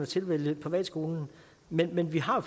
tilvælge privatskolen men men vi har